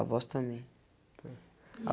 A voz também.